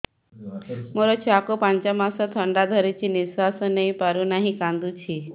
ମୋ ଛୁଆକୁ ପାଞ୍ଚ ମାସ ଥଣ୍ଡା ଧରିଛି ନିଶ୍ୱାସ ନେଇ ପାରୁ ନାହିଁ କାଂଦୁଛି